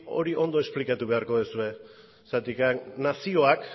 hori ondo esplikatu beharko duzue zergatik nazioak